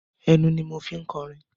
Ẹnu ni mo fi ń kọrin.